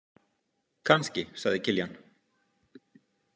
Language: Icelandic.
Kannski, sagði Kiljan.